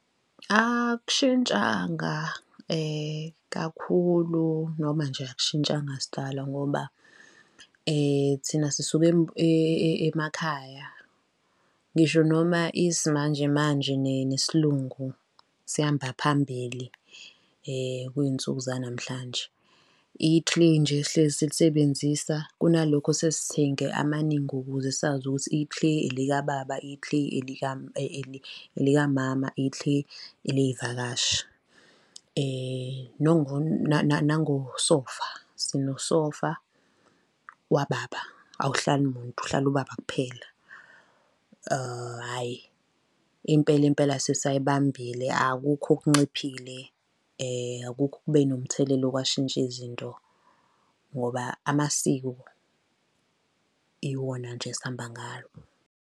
Akushintshanga kakhulu, noma nje akushintshanga sidalwa ngoba thina sisuka emakhaya, ngisho noma isimanje manje nesiLungu sihamba phambili kwinsuku zanamhlanje, ithileyi nje sihlezi silisebenzisa, kunalokho sesithenga amaningi ukuze sazi ukuthi, ithileyi elika baba, ithileyi elikamama, ithileyi eley'vakashi. Nangosofa, sinosofa wababa awuhlali muntu, uhlala ubaba kuphela hhayi impela, impela, sisayibambile, akukho okunciphile, akukho okube nomthelelo kwashintsha izinto ngoba amasiko iwona nje esihamba ngawo.